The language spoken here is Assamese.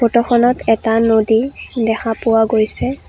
ফটো খনত এটা নদী দেখা পোৱা গৈছে।